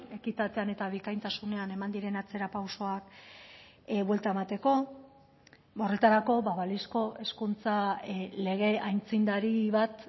ekitatean eta bikaintasunean eman diren atzerapausoak buelta emateko horretarako balizko hezkuntza lege aitzindari bat